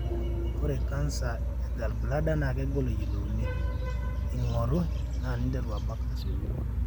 ore canser e gallbladder na kegolo eyiolouni (ingoru) na ninteru abak asioki.